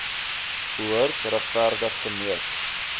behoort regverdig gemeet